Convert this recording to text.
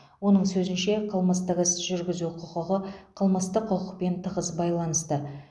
оның сөзінше қылмыстық іс жүргізу құқығы қылмыстық құқықпен тығыз байланысты